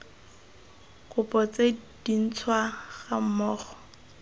kopo tse dintšhwa ga mmogo